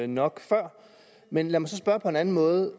nok før men lad mig så spørge på en anden måde